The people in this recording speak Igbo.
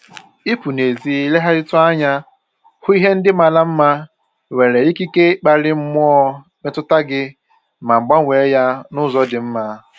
Ịpụ n'ezi legharịtụ anya hụ ihe ndị mara mma nwere ikike ikpali mmụọ mmetụta gị ma gbanwee ya n'ụzọ dị mma